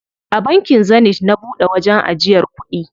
A bankin Zenith na buɗe wajen ajiyar kuɗi.